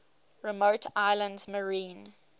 remote islands marine